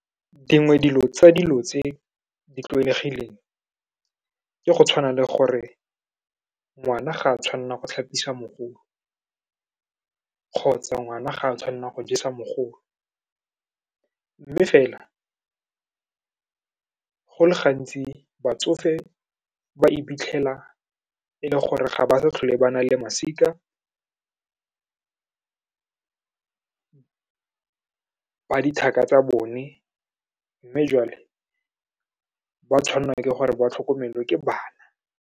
Dingwe dilo tsa dilo tse di tlwaelegileng, ke go tshwana le gore ngwana ga a tshwanela go tlhapisa mogolo, kgotsa ngwana ga a tshwanela go jesa mogolo, mme fela go le gantsi batsofe ba iphitlhela e le gore ga ba sa tlhole ba na le masika ba dithaka tsa bone, mme jwale ba tshwanelwa ke gore ba tlhokomelwe ke bana.